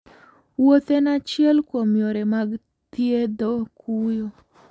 Wuoth en achiel kuom yore mag thiedho kuyo.